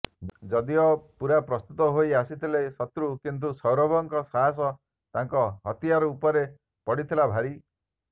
ଯଦିଓ ପୁରା ପ୍ରସ୍ତୁତ ହୋଇ ଆସିଥିଲେ ଶତ୍ରୁ କିନ୍ତୁ ସୌରଭଙ୍କ ସାହସ ତାଙ୍କ ହତିୟାର୍ ଉପରେ ପଡିଥିଲା ଭାରି